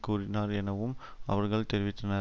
கூறினர் எனவும் அவர்கள் தெரிவித்தனர்